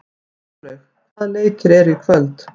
Þórlaug, hvaða leikir eru í kvöld?